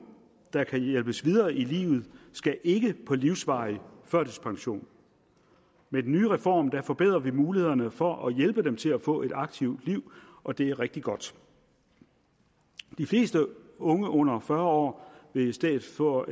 der kan hjælpes videre i livet skal ikke på livsvarig førtidspension med den nye reform forbedrer vi mulighederne for at hjælpe dem til at få et aktivt liv og det er rigtig godt de fleste unge under fyrre år vil i stedet for at